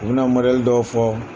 U bɛ na dɔw fɔ.